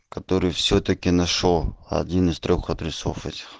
который всё-таки нашёл один из трёх адресов этих